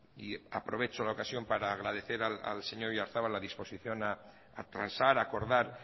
y aprovecho la ocasión para agradecer al señor oyarzabal la disposición a transar a acordar